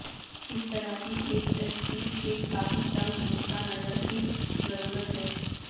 اس طرح کی ایک تشخیص ایک کافی تنگ نقطہ نظر کی ضرورت ہے